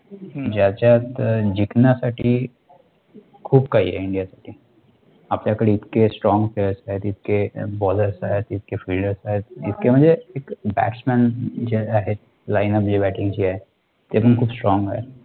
खूप काही आहे India मध्ये, आपल्याकडे इतके Strong Players आहेत, इतके Ballers आहेत, इतके fielders आहेत, इतके म्हणजे, एक, batsman जे आहेत, line up जे batingची आहे, ती पण खूप Strong आहे.